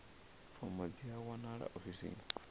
fomo dzi a wanalea ofisini